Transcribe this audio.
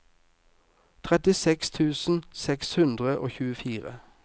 trettiseks tusen seks hundre og tjuefire